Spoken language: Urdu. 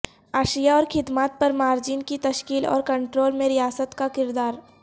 اشیا اور خدمات پر مارجن کی تشکیل اور کنٹرول میں ریاست کا کردار